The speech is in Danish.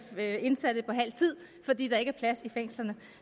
indsatte på halv tid fordi der ikke er plads i fængslerne